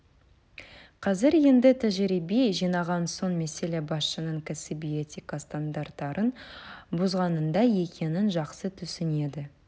қазір енді тәжірибе жинаған соң мәселе басшының кәсіби этика стандарттарын бұзғанында екенін жақсы түсінеді